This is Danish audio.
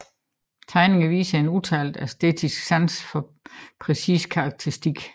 Tegninger viser en udtalt artistisk sans for præcis karakteristik